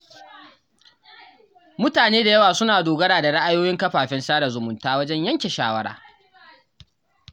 Mutane da yawa suna dogara da ra’ayoyin kafafen sada zumunta wajen yanke shawara.